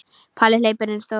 Palli hleypur inn í stofu.